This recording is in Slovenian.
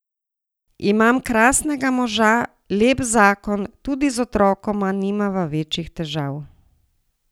Imam krasnega moža, lep zakon, tudi z otrokoma nimava večjih težav.